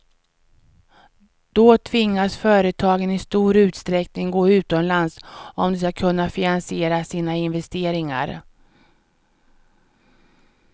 Då tvingas företagen i stor utsträckning gå utomlands om de ska kunna finansiera sina investeringar.